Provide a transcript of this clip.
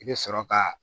I bɛ sɔrɔ ka